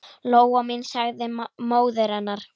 Lóa mín, sagði móðir hennar.